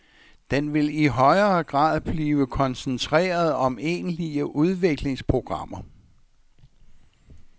Den vil i højere grad blive koncentreret om egentlige udviklingsprogrammer.